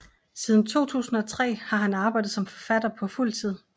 Siden 2003 har han arbejdet som forfatter på fuld tid